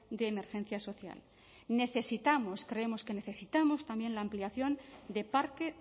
de emergencia social necesitamos creemos que necesitamos también la ampliación de parque